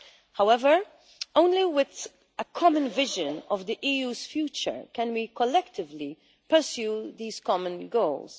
However, only with a common vision of the EU's future can we collectively pursue these common goals.